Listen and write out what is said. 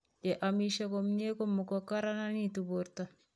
ye amisie komye ko mukukararanitu borto.